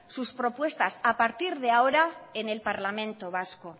sus propuestas a partir de ahora en el parlamento vasco